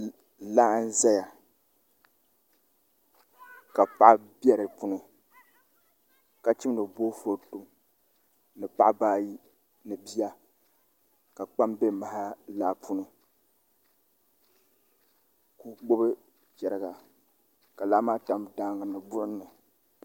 Laa n ʒɛya ka paɣa bɛ di puuni ka chimdi boofurooto ni paɣaba ayi ni bia ka kpam bɛ maha laa puuni ka o gbubi chɛriga ka laa maa tam daangi ni buɣum ni